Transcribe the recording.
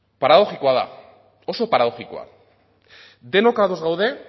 paradoxikoa da oso paradoxikoa da denok ados gaude